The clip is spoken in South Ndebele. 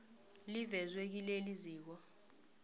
livezwe kileli ziko